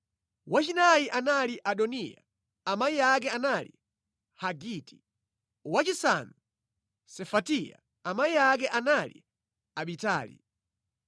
wachinayi anali Adoniya, amayi ake anali Hagiti; wachisanu, Sefatiya amayi ake anali Abitali;